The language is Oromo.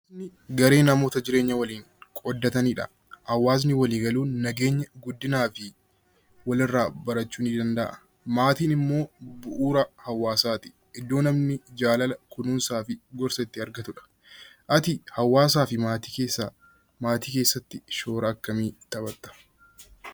Hawaasni garee namoota walii galuun jiraatanidha. Hawaasni walii galuun nageenya, guddinaa fi walirraa barachuu ni danda'a. Maatiin immoo bu'uura hawaasaati. Iddoo namni jaalala, kunuunsaa fi gorsa itti argatudha. Ati maatii keessatti shoora akkamii taphatta?